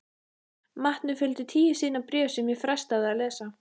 Matnum fylgdi tíu síðna bréf sem ég frestaði að lesa.